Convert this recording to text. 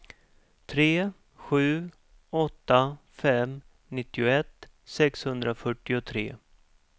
tre sju åtta fem nittioett sexhundrafyrtiotre